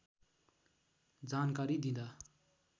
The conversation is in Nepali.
जानकारी दिँदा